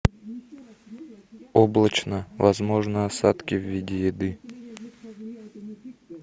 облачно возможны осадки в виде еды